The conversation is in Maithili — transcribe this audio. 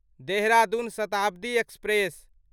देहरादून शताब्दी एक्सप्रेस